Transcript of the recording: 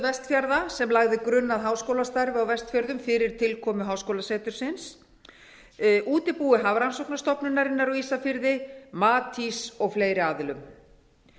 vestfjarða sem lagði grunn að háskólastarfi á vestfjörðum fyrir tilkomu háskólasetursins útibúi hafrannsóknastofnunarinnar á ísafirði matís og fleiri aðilum